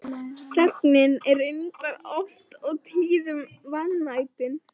Þögnin er reyndar oft og tíðum vanmetin.